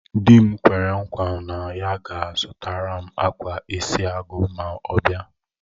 Di m kwere nkwa na ya ga-azutaram akwa isi agu ma ọ bia